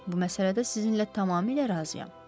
Bu məsələdə sizinlə tamamilə razıyam.